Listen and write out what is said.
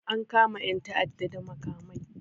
An kama 'yan ta'adda da makamai